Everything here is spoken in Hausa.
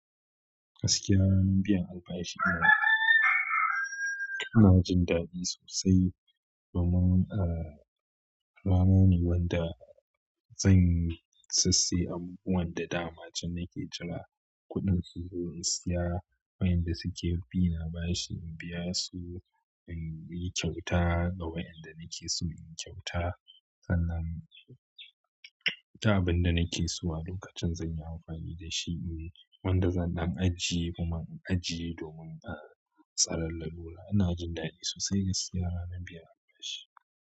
Gaskiya ranar biyan albashi ita ina jin daɗi sosai domin, ah, rana ne wanda zan siyasai amfanin da dama ce nake jira kuɗin su zo in saya wayanda suke bi na bashi in biya su, in yi kyauta ga wayanda nake so inyi kyauta. Sannan duk abinda da nake so a lokacin zan yi amfani da shi ne wanda zan ɗan ajiye kuma in ajiye domin, ah, tsarar lalura. Ina jin daɗi sosai gaskiya ranar biyan albashi.